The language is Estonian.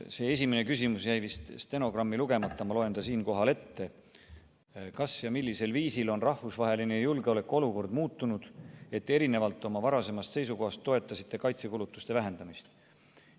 Esimene küsimus jäi vist stenogrammi jaoks ette lugemata, ma loen ta siinkohal ette: kas ja millisel viisil on rahvusvaheline julgeolekuolukord muutunud, et erinevalt oma varasemast seisukohast toetasite kaitsekulutuste vähendamist?